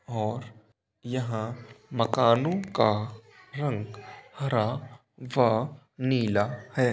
और यहाँ मकानो का रंग हरा व नीला है।